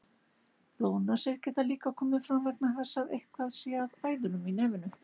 Blóðnasir geta líka komið fram vegna þess að eitthvað sé að æðunum í nefinu.